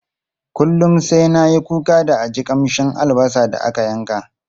Kullum sai na yi kuka da a ji kamshin albasa da aka yanka.